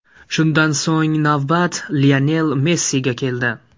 Shundan so‘ng navbat Lionel Messiga keldi.